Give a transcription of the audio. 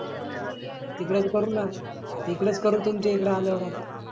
टिकडच करून तुमच्या इकड आल्यावर आता.